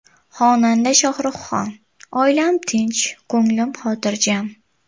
Xonanda Shohruxxon: Oilam tinch, ko‘nglim xotirjam.